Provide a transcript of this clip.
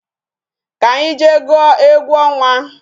Ka anyị jee gwuo egwu ọnwa